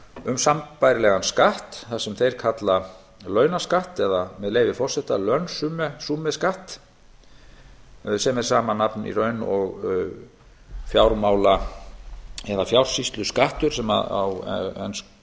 um sambærilegan skatt sem þeir kalla launaskatt það er með leyfi forseta lønsummerskat sem er í raun sama nafn og fjársýsluskattur sem á enskri